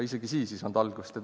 Isegi siis ei saanud maailm algust.